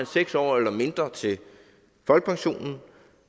seks år eller mindre til folkepensionen